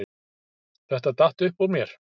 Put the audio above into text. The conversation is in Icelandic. Þetta datt upp úr mér